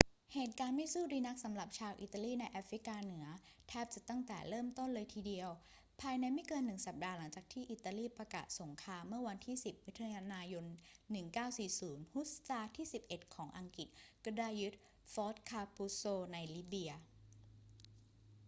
เหตุการณ์ไม่สู้ดีนักสำหรับชาวอิตาลีในแอฟริกาเหนือแทบจะตั้งแต่เริ่มต้นเลยทีเดียว ภายในไม่เกินหนึ่งสัปดาห์หลังจากอิตาลีประกาศสงครามเมื่อวันที่ 10 มิถุนายน 1940 ฮุสซาร์ที่ 11 ของอังกฤษก็ได้ยึดฟอร์ตคาปุซโซในลิเบีย